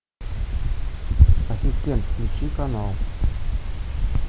ассистент включи канал